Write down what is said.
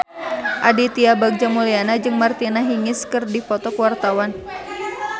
Aditya Bagja Mulyana jeung Martina Hingis keur dipoto ku wartawan